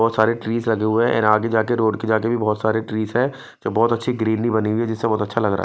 बहुत सारे ट्रीज लगे हुए हैं आगे जाके रोड के जाके भी बहुत सारे ट्रीज है जो बहुत अच्छी ग्रीनरी बनी हुई है जिससे बहुत अच्छा लग रहा है।